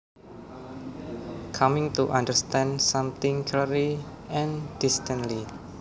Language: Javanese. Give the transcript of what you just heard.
Coming to understand something clearly and distinctly